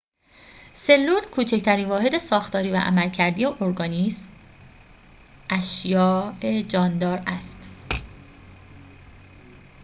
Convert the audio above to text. سلول کوچکترین واحد ساختاری و عملکردی ارگانیسم اشیاء جاندار است